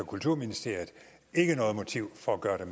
kulturministeriet ikke noget motiv for at gøre det